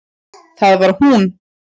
Það var hún!